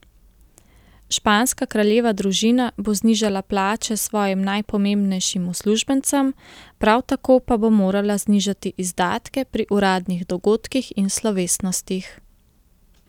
Španska kraljeva družina bo znižala plače svojim najpomembnejšim uslužbencem, prav tako pa bo morala znižati izdatke pri uradnih dogodkih in slovesnostih.